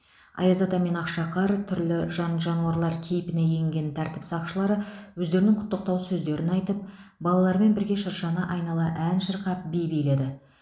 аяз ата мен ақшақар түрлі жан жануарлар кейпіне енген тәртіп сақшылары өздерінің құттықтау сөздерін айтып балалармен бірге шыршаны айнала ән шырқап би биледі